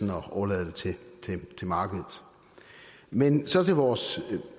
at overlade det til markedet men så til vores